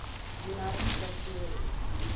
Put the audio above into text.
united states marines